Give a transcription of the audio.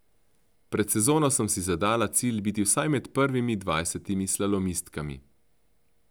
Pred sezono sem si zadala cilj biti vsaj med prvimi dvajsetimi slalomistkami.